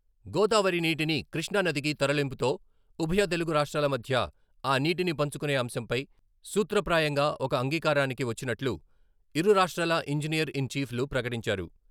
గోదావరి నీటిని కృష్ణానదికి తరలింపుతో ఉభయ తెలుగు రాష్ట్రాల మధ్య ఆ నీటిని పంచుకునే అంశంపై సూత్రప్రాయంగా ఒక అంగీకారానికి వచ్చినట్లు ఇరు రాష్ట్రాల ఇంజినీర్ ఇన్ చీఫ్లు ప్రకటించారు.